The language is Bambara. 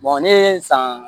ne ye san